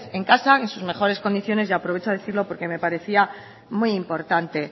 en casa en sus mejores condiciones y aprovecho a decirlo porque me parecía muy importante